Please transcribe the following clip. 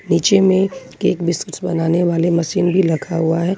नीचे में cake biscuit बनाने वाली मशीन भी रखा हुआ है।